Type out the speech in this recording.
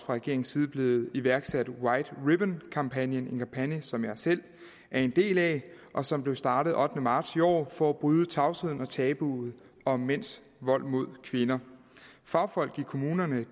regeringens side blev iværksat en white ribbon kampagne en kampagne som jeg selv er en del af og som blev startet den ottende marts i år for at bryde tavsheden og tabuet om mænds vold mod kvinder fagfolk i kommunerne